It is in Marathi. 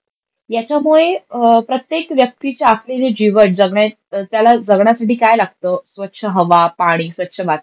याच्यामुळे प्रत्येक व्यक्तिच्या असलेले जीवन, त्याला जगण्यासाठी काय लागतं? स्वच्छ हवा, पानी, स्वच्छ वातावरण.